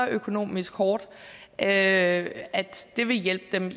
økonomisk hårdt at det vil hjælpe dem